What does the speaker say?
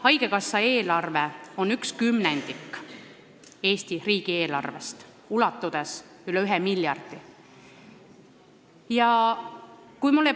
Haigekassa eelarve on 1/10 Eesti riigi eelarvest, ulatudes üle 1 miljardi euro.